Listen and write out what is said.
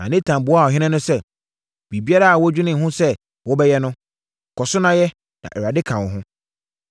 Na Natan buaa ɔhene no sɛ, “Biribiara a woadwene ho sɛ wobɛyɛ no, kɔ so na yɛ, na Awurade ka wo ho.”